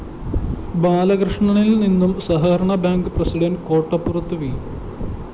ബാലകൃഷ്ണനില്‍ നിന്നും സഹകരണ bank president കോട്ടപ്പുറത്ത് വി